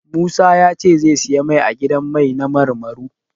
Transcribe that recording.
Musa ya ce zai siyi mai a gidan mai na Marmaro.